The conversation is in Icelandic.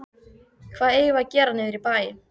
Hvað eigum við að gera niðri í bæ?